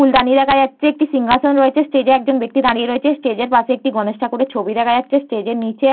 ফুলদানি দেখা যাচ্ছে একটি সিংহাসন রয়েছে স্টেজে একজন ব্যক্তি দাঁড়িয়ে রয়েছে স্টেজের পাশে একটি গণেশ ঠাকুরের ছবি দেখা যাচ্ছে স্টেজে নিচে।